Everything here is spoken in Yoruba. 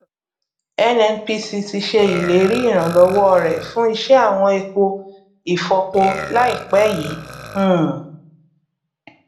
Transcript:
nnpc ti ṣe ìlérí ìrànlọwọ rẹ fún iṣẹ àwọn epo ifọpo láìpẹ yìí um